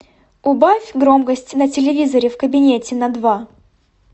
убавь громкость на телевизоре в кабинете на два